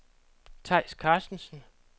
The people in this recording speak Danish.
Theis Carstensen